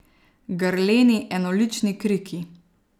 Grleni, enolični kriki.